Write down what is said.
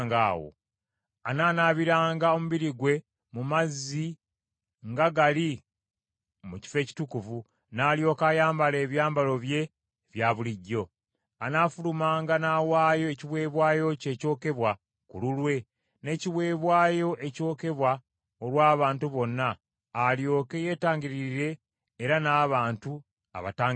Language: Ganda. Anaanaabiranga omubiri gwe mu mazzi nga gali mu kifo ekitukuvu, n’alyoka ayambala ebyambalo bye ebya bulijjo. Anaafulumanga n’awaayo ekiweebwayo kye ekyokebwa ku lulwe, n’ekiweebwayo ekyokebwa olw’abantu bonna, alyoke yeetangiririre era n’abantu abatangiririre.